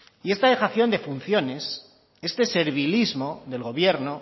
y esta dejación de funciones este servilismo del gobierno